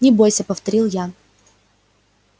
не бойся повторил я